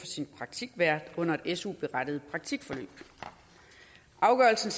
sin praktikvært under et su berettiget praktikforløb afgørelsen